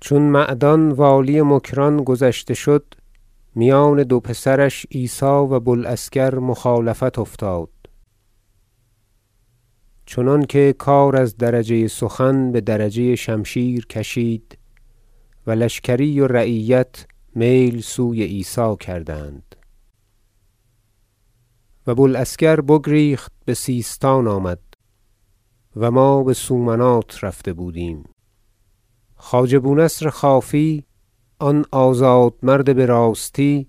ذکر قصه ولایت مکران و آنچه بروزگار امیر محمود رضی الله عنه در آنجا گذشت چون معدان والی مکران گذشته شد میان دو پسرش عیسی و بو العسکر مخالفت افتاد چنانکه کار از درجه سخن بدرجه شمشیر کشید و لشکری و رعیت میل سوی عیسی کردند و بو العسکر بگریخت بسیستان آمد- و ما بسومنات رفته بودیم- خواجه بو نصر خوافی آن آزاد مرد براستی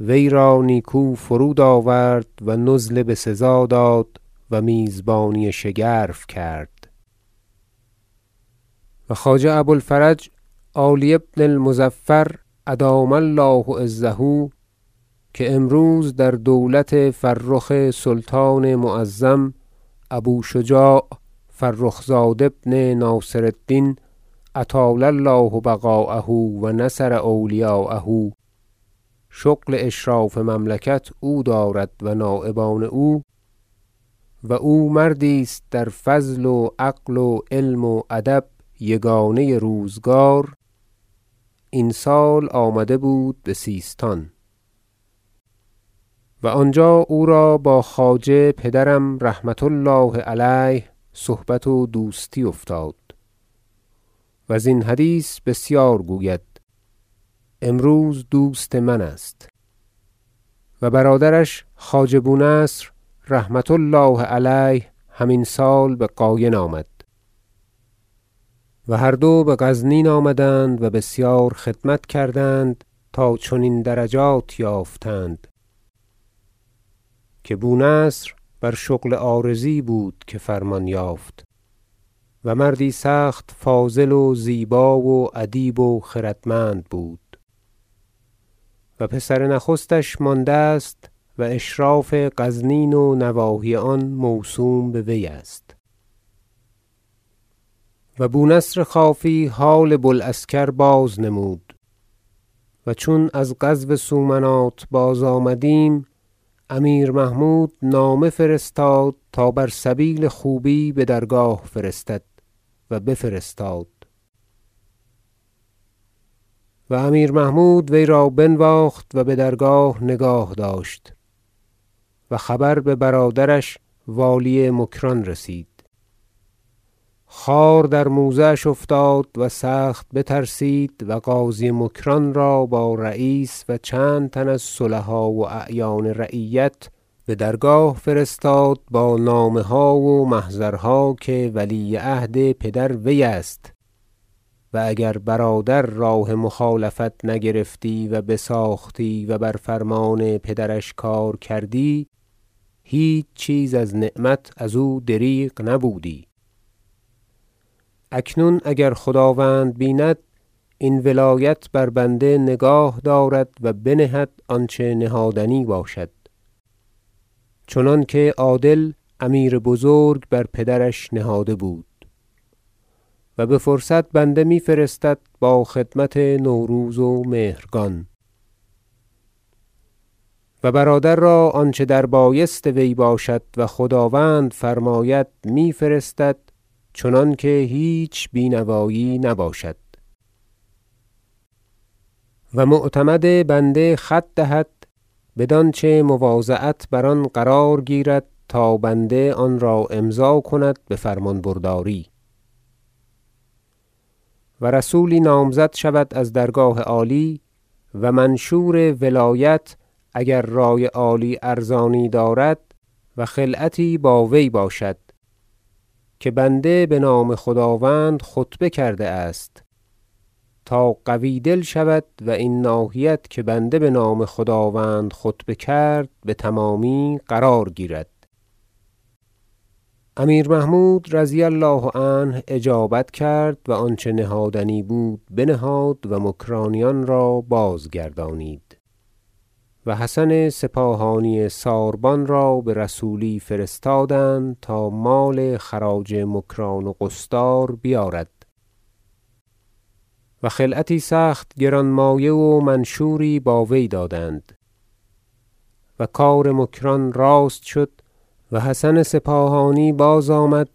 وی را نیکو فرود آورد و نزل بسزا داد و میزبانی شگرف کرد و خواجه ابو الفرج عالی بن المظفر ادام الله عزه که امروز در دولت فرخ سلطان معظم ابو شجاع فرخ زاد ابن ناصر الدین اطال الله بقاءه و نصر اولیاءه شغل اشراف مملکت او دارد و نایبان او و او مردی است در فضل و عقل و علم و ادب یگانه روزگار این سال آمده بود بسیستان و آنجا او را با خواجه پدرم رحمة الله علیه صحبت و دوستی افتاد و زین حدیث بسیار گوید امروز دوست من است و برادرش خواجه بو نصر رحمة الله علیه هم این سال به قاین آمد و هر دو بغزنین آمدند و بسیار خدمت کردند تا چنین درجات یافتند که بو نصر بر شغل عارضی بود که فرمان یافت و مردی سخت فاضل و زیبا و ادیب و خردمند بود و پسر نخستش مانده است و اشراف غزنین و نواحی آن موسوم به وی است و بو نصر خوافی حال بو العسکر بازنمود و چون از غزو سومنات بازآمدیم امیر محمود نامه فرستاد تا وی را بر سبیل خوبی بدرگاه فرستند و بفرستاد و امیر محمود وی را بنواخت و بدرگاه نگاه داشت و خبر ببرادرش والی مکران رسید خار در موزه اش افتاد و سخت بترسید و قاضی مکران را با رییس و چندتن از صلحا و اعیان رعیت بدرگاه فرستاد با نامه ها و محضرها که ولی عهد پدر وی است و اگر برادر راه مخالفت نگرفتی و بساختی و بر فرمان پدرش کار کردی هیچ چیز از نعمت ازو دریغ نبودی اکنون اگر خداوند بیند این ولایت بر بنده نگاه دارد و بنهد آنچه نهادنی باشد چنانکه عادل امیر بزرگ بر پدرش نهاده بود و بفرصت بنده می فرستد با خدمت نوروز و مهرگان و برادر را آنچه دربایست وی باشد و خداوند فرماید میفرستد چنانکه هیچ بی نوایی نباشد و معتمد بنده خط دهد بدانچه مواضعت بر آن قرار گیرد تا بنده آن را امضا کند بفرمان برداری و رسولی نامزد شود از درگاه عالی و منشور ولایت- اگر رأی عالی ارزانی دارد- و خلعتی با وی باشد که بنده بنام خداوند خطبه کرده است تا قوی دل شود و این ناحیت که بنده بنام خداوند خطبه کرد بتمامی قرار گیرد امیر محمود رضی الله عنه اجابت کرد و آنچه نهادنی بود بنهادند و مکرانیان را بازگردانیدند و حسن سپاهانی ساربان را برسولی فرستادند تا مال خراج مکران و قصدار بیارد و خلعتی سخت گران مایه و منشوری با وی دادند و کار مکران راست شد و حسن سپاهانی بازآمد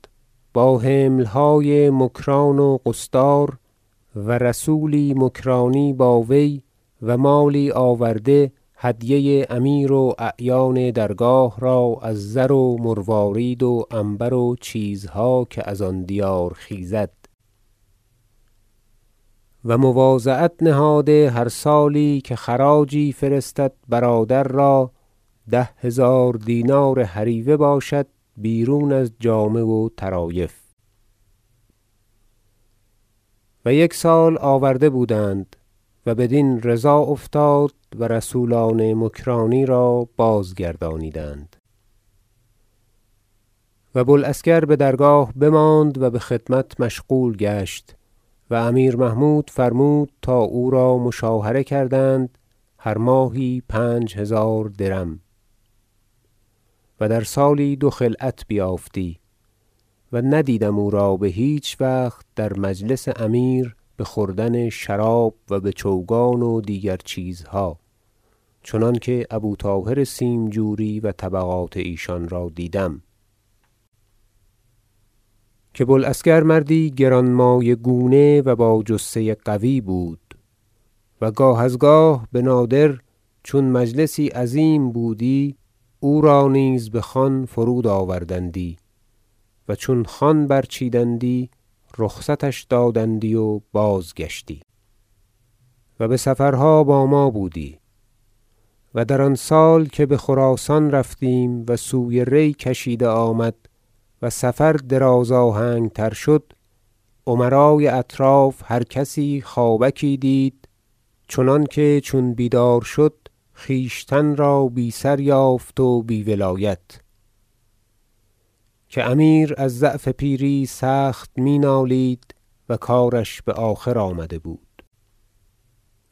با حملهای مکران و قصدار و رسولی مکرانی باوی و مالی آورده هدیه امیر و اعیان درگاه را از زر و مروارید و عنبر و چیزها که از آن دیار خیزد و مواضعت نهاده هر سالی که خراجی فرستد برادر را ده هزار دینار هریوه باشد بیرون از جامه و طرایف و یک سال آورده بودند و بدین رضا افتاد و رسولان مکرانی را بازگردانیدند و بو العسکر بدرگاه بماند و بخدمت مشغول گشت و امیر محمود فرمود تا او را مشاهره کردند هر ماهی پنج هزار درم و در سالی دو خلعت بیافتی و ندیدم او را بهیچ وقت در مجلس امیر بخوردن شراب و بچوگان و دیگر چیزها چنانکه ابو طاهر سیمجوری و طبقات ایشان را دیدم که بو العسکر مردی گرانمایه گونه و با جثه قوی بود و گاه از گاه بنادر چون مجلسی عظیم بودی او را نیز بخوان فرود- آوردندی و چون خوان برچیدندی رخصتش دادندی و بازگشتی و بسفرها با ما بودی و در آن سال که بخراسان رفتیم و سوی ری کشیده آمد و سفر دراز- آهنگ تر شد امرای اطراف هر کس خوابکی دید چنانکه چون بیدار شد خویشتن را بی سر یافت و بی ولایت- که امیر از ضعف پیری سخت می نالید و کارش بآخر آمده بود-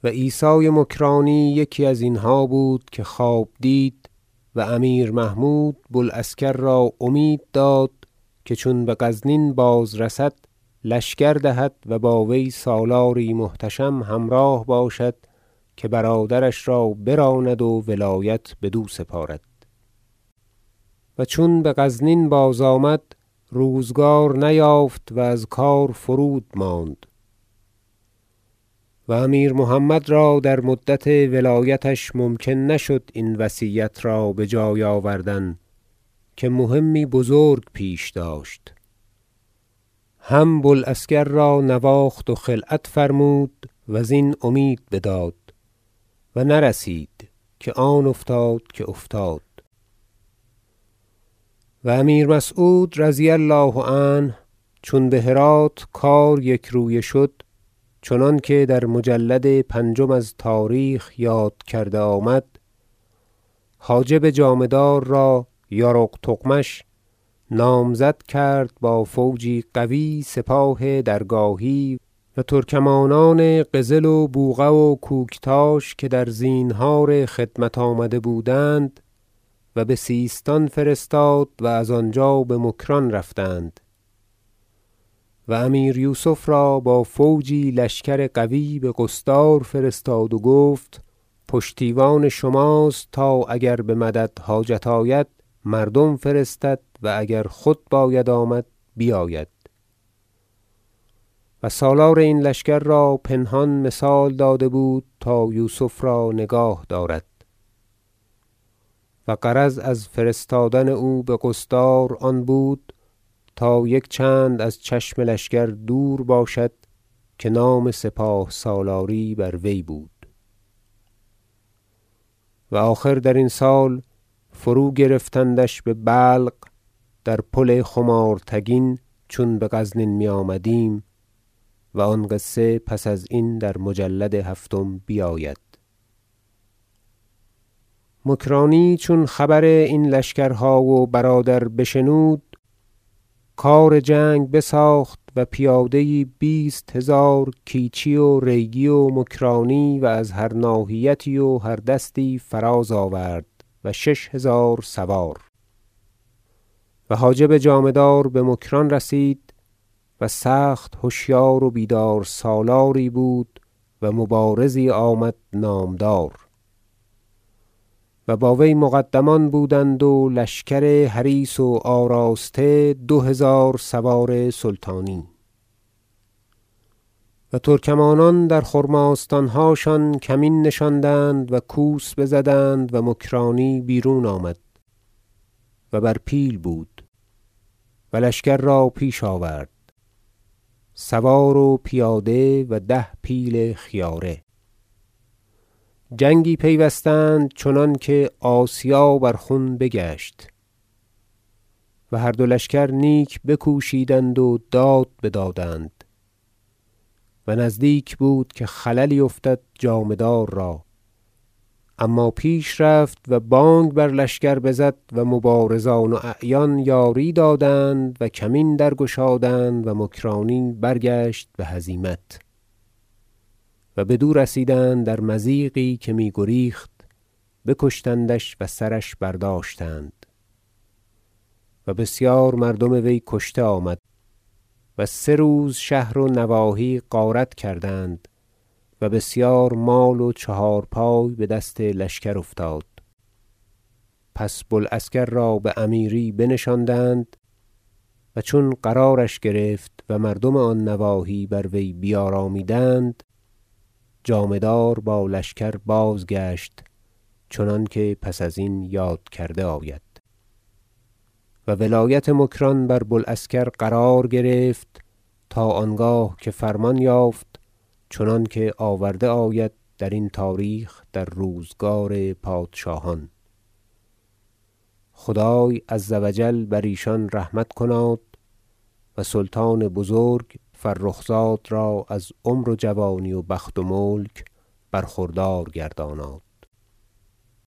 و عیسی مکرانی یکی ازینها بود که خواب دید و امیر محمود بو العسکر را امید داد که چون بغزنین بازرسد لشکر دهد و با وی سالاری محتشم همراه باشد که برادرش را براند و ولایت بدو سپارد و چون بغزنین بازآمد روزگار نیافت و از کار فرود ماند و امیر محمد را در مدت ولایتش ممکن نشد این وصیت را بجای آوردن که مهمی بزرک پیش داشت هم ابو العسکر را نواخت و خلعت فرمود وزین امید بداد و نرسید که آن افتاد که افتاد و امیر مسعود رضی الله عنه چون بهرات کار یکرویه شد چنانکه در مجلد پنجم از تاریخ یاد کرده آمد حاجب جامه دار را یارق تغمش نامزد کرد با فوجی قوی سپاه درگاهی و ترکمانان قزل و بوقه و کوکتاش که در زینهار خدمت آمده بودند و بسیستان فرستاد و از آنجا بمکران رفتند و امیر یوسف را با فوجی لشکر قوی بقصدار فرستاد و گفت پشتیوان شماست تا اگر بمدد حاجت آید مردم فرستد و اگر خود باید آمد بیاید و سالار این لشکر را پنهان مثال داده بود تا یوسف را نگاه دارد و غرض از فرستادن او بقصدار آن بود تا یک چند از چشم لشکر دور باشد که نام سپاه سالاری بر وی بود و آخر درین سال فروگرفتندش به بلق در پل خمارتگین چون به غزنین میآمدیم و آن قصه پس ازین در مجلد هفتم بیاید مکرانی چون خبر این لشکرها و برادر بشنود کار جنگ بساخت و پیاده یی بیست هزار کیچی و ریگی و مکرانی و از هر ناحیتی و هر دستی فراز آورد و شش هزار سوار و حاجب جامه دار بمکران رسید- و سخت هشیار و بیدار سالاری بود و مبارزی آمد نامدار- و با وی مقدمان بودند و لشکر حریص و آراسته دو- هزار سوار سلطانی و ترکمان در خرماستانهاشان کمین نشاندند و کوس بزدند و مکرانی بیرون آمد و بر پیل بود و لشکر را پیش آورد سوار و پیاده و ده پیل خیاره جنگی پیوستند چنانکه آسیا بر خون بگشت و هر دو لشکر نیک بکوشیدند و داد بدادند و نزدیک بود که خللی افتادی جامه دار را اما پیش رفت و بانگ بر لشکر برزد و مبارزان و اعیان یاری دادند و کمین درگشادند و مکرانی برگشت بهزیمت و بدو رسیدند در مضیقی که میگریخت بکشتندش و سرش برداشتند و بسیار مردم وی کشته آمد و سه روز شهر و نواحی غارت کردند و بسیار مال و چهار پای بدست لشکر افتاد پس بو العسکر را بامیری بنشاندند و چون قرارش گرفت و مردم آن نواحی بر وی بیارامیدند جامه دار با لشکر بازگشت چنانکه پس ازین یاد کرده آید و ولایت مکران بر بو العسکر قرار گرفت تا آنگاه که فرمان یافت چنانکه آورده آید در این تاریخ در روزگار پادشاهان خدای عزوجل بر ایشان رحمت کناد و سلطان بزرگ فرخ زاد را از عمر و جوانی و بخت و ملک برخوردار گرداناد